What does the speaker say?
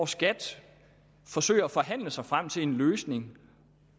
skat forsøger at forhandle sig frem til en løsning